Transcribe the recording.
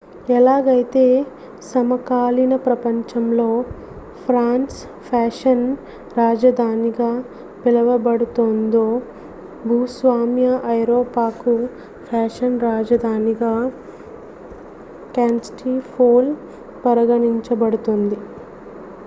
ఎలాగైతే సమకాలీన ప్రపంచంలో ఫ్రాన్స్ ఫ్యాషన్ రాజధానిగా పిలవబడుతోందో భూస్వామ్య ఐరోపాకు ఫ్యాషన్ రాజధానిగా కాన్స్టాంటిపోల్ పరిగణించబడుతుంది